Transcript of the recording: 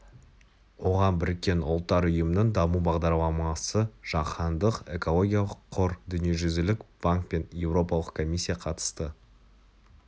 оған біріккен ұлттар ұйымының даму бағдарламасы жаһандық экологиялық қор дүниежүзілік банк пен еуропалық комиссия қатысты